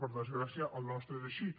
per desgràcia el nostre és així